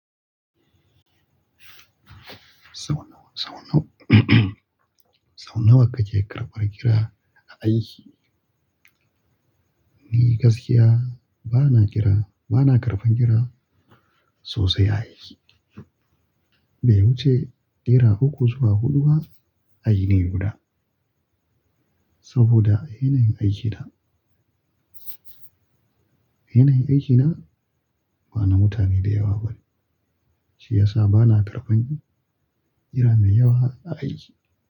Sau nawa, sau nawa, sau nawa kake karɓan kira a aiki? Ni gaskiya bana kira, bana karɓan kira sosai a aiki. Be wuce naira uku zuwa huɗu ba a yini guda. Saboda yanayin aikina, yanayin aikina bana mutane da yawa bane, shi yasa bana karɓan kira mai yawa a aiki.